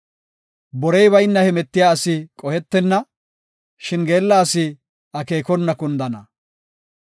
Borey bayna hemetiya asi qohetenna; shin geella asi akeekona kundana.